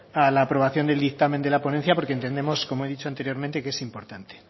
a la aprobación del dictamen de la ponencia porque entendemos como he dicho anteriormente que es importante